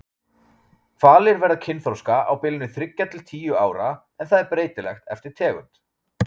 Hvalir verða kynþroska á bilinu þriggja til tíu ára en það er breytilegt eftir tegund.